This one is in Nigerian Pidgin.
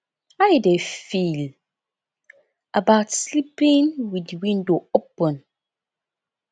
how you dey feel about sleeping with di window open